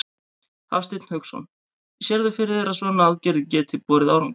Hafsteinn Hauksson: Sérðu fyrir þér að svona aðgerðir geti borið árangur?